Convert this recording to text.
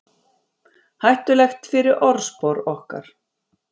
Hættulegt fyrir orðspor okkar